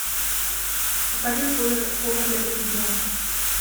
покажи повар для президента